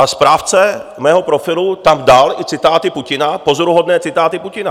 A správce mého profilu tam dal i citáty Putina, pozoruhodné citáty Putina.